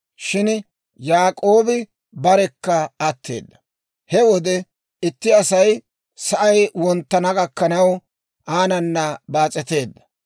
shin Yaak'oobi barekka atteedda. He wode itti Asay sa'ay wonttana gakkanaw aanana baas'eteedda.